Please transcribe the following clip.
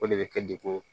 O de bɛ kɛ degun